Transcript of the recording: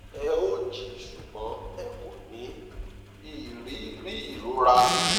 ẹ ó jí ṣùgbọn ẹ kò ní í rí rí ìrora